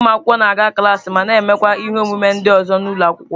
Ụmụ akwụkwọ na-aga klaasị ma na-emekwa ihe omume ndị ọzọ n'ụlọ akwụkwọ.